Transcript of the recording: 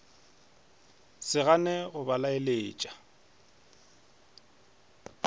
se gane go ba leletša